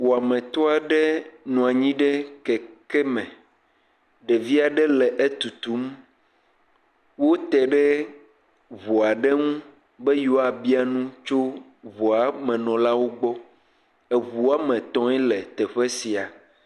Wɔametɔ aɖe nɔ abyi ɖe keke me. Ɖevi aɖe le etutum, wote ɖe ŋu aɖe ŋu be yewoa bia nu tso ŋuamenɔlawo gbɔ. Eŋu woame tɔ̃e le teƒe sia.